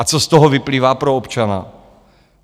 A co z toho vyplývá pro občana?